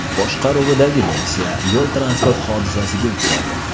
boshqaruvidagi Nexia yo‘l-transport hodisasiga uchradi.